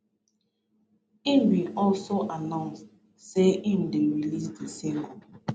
im bin also annound say im dey release di single